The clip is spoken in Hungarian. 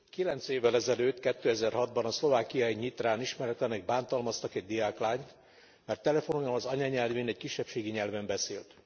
Kilenc évvel ezelőtt, 2006 ban a szlovákiai Nyitrán ismeretlenek bántalmaztak egy diáklányt, mert telefonon az anyanyelvén, egy kisebbségi nyelven beszélt.